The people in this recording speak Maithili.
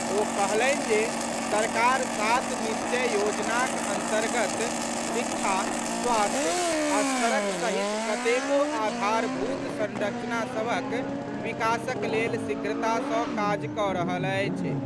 ओ कहलनि जे सरकार सात निश्चय योजनाक अंतर्गत शिक्षा, स्वास्थ्य आ सड़क सहित कतेको आधारभूत संरचना सभक विकासक लेल शीघ्रता सॅ काज कऽ रहल अछि।